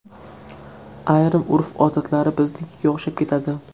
Ayrim urf-odatlari biznikiga o‘xshab ketadi.